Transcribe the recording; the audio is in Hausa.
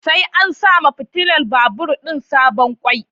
Sai an sawa fitular babur din sabon kwai